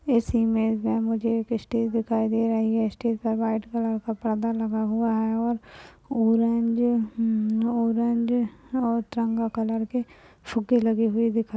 इस इमेज में मुझे एक स्टेज दिखाई दे रहा है स्टेज पे व्हाइट कलर का पर्दा लगा हुआ है ऑरेंज - ऑरेंज और तिरंगा कलर के फुग्गे लगे हुए दिखाई दे रहें हैं।